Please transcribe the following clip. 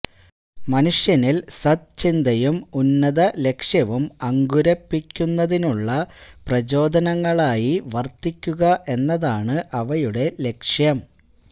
മനുഷ്യനില് സദ്ചിന്തയും ഉന്നത ലക്ഷ്യവും അങ്കുരപ്പിക്കുന്നതിനുള്ള പ്രചോദനങ്ങളായി വര്ത്തിക്കുക എന്നതാണ് അവയുടെ ലക്ഷ്യം